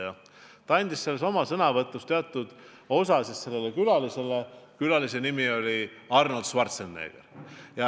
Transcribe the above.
Ja Austria president andis oma sõnavõtust teatud aja sellele külalisele, kelle nimi oli Arnold Schwarzenegger.